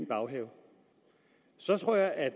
baghave så tror jeg at